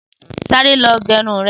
Sàré lọ gẹrún rẹ̀